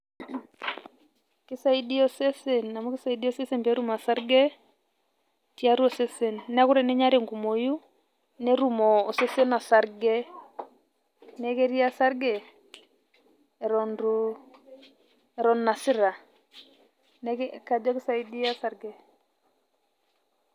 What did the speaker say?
Kisaidia osesen amu kisaidia osesen petum osarge, tiatua osesen. Neeku teninya tenkumoyu, netum osesen osarge. Neeku ketii osarge, eton itu, eton inasita. Neeku kajo kisaidia osarge.